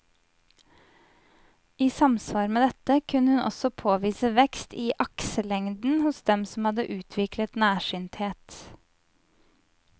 I samsvar med dette kunne hun også påvise vekst i akselengden hos dem som hadde utviklet nærsynthet.